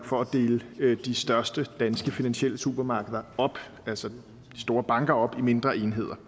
for at dele de største danske finansielle supermarkeder altså de store banker op i mindre enheder